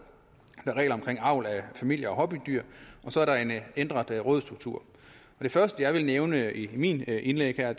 er regler om avl af familie og hobbydyr og så er der en ændret rådsstruktur det første jeg vil nævne i mit indlæg her